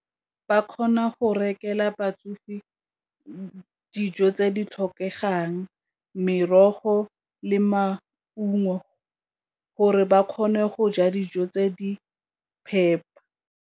Ba kgona go rekelwa batsofe dijo tse di tlhokegang, merogo le maungo gore ba kgone go ja dijo tse di phepa.